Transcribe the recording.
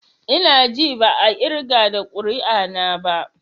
I na ji ba a irga da ƙuri'a na ba.